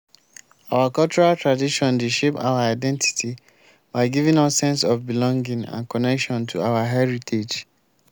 our cultural tradition dey shape our identity by giving us sense of belonging and connection to our heritage.